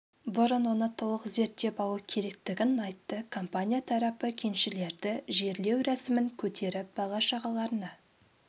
бұрын оны толық зерттеп алу керектін айтты компания тарапы кеншілерді жерлеу рәсімін көтеріп бала шағаларына